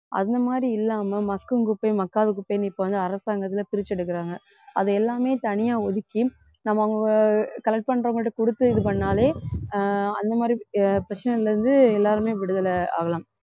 அந்த மாதிரி இல்லாம மக்கும் குப்பை மக்காத குப்பைன்னு இப்ப வந்து அரசாங்கத்தில பிரிச்சு எடுக்குறாங்க அதை எல்லாமே தனியா ஒதுக்கி நம்ம அவங்க collect பண்றவங்ககிட்ட கொடுத்து இது பண்ணாலே ஆஹ் அந்த மாதிரி ஆஹ் பிரச்சனையில இருந்து எல்லாருமே விடுதலை ஆகலாம்